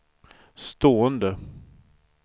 stående